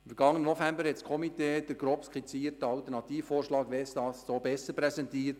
Im vergangenen November hat das Komitee den grob skizzierten Alternativvorschlag «Westast so besser» präsentiert.